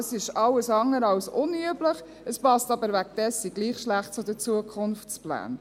Dies ist alles andere als unüblich, aber es passt deswegen trotzdem schlecht zu den Zukunftsplänen.